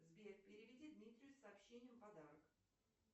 сбер переведи дмитрию с сообщением подарок